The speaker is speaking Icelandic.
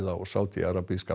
á Sádí arabíska